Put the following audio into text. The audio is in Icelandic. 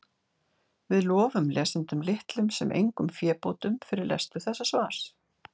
Við lofum lesendum litlum sem engum fébótum fyrir lestur þessa svars.